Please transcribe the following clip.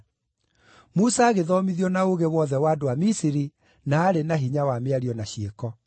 Musa agĩthomithio na ũũgĩ wothe wa andũ a Misiri na aarĩ na hinya wa mĩario na ciĩko.